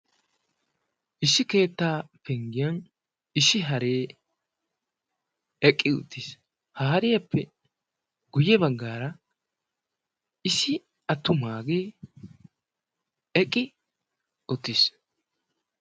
Issi keettaa penggiyaan issi haree eqqi uttiis. ha hariyaappe guye baggaara issi attumagee eqqi uttiis.